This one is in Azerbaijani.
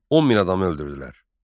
10 min adamı öldürdülər.